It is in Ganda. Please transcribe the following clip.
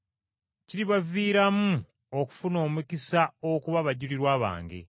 Kiribaviiramu okufuna omukisa okuba abajulirwa bange.